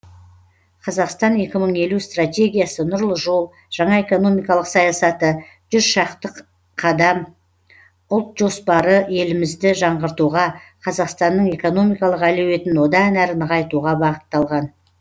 қазақстан екі мың елу стратегиясы нұрлы жол жаңа экономикалық саясаты шақты қадам ұлт жоспары елімізді жаңғыртуға қазақстанның экономикалық әлеуетін одан әрі нығайтуға бағытталған